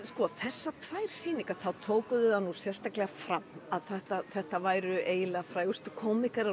sko þessar tvær sýningar þá tóku þau það nú sérstaklega fram að þetta þetta væru eiginlega frægustu